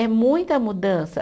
É muita mudança.